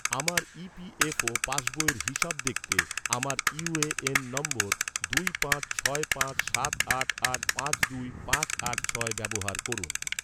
আমার ইপিএফও ​​পাসবইয়ের হিসেব দেখতে, আমার ইউ.এ.এন নম্বর, দুই পাঁচ ছয় পাঁচ সাত আট আট পাঁচ দুই পাঁচ আট ছয় ব্যবহার করুন